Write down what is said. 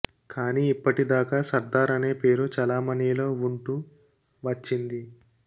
కానీ ఇప్పటి దాకా సర్దార్ అనే పేరు చలామణీలో వుంటూ వచ్చింది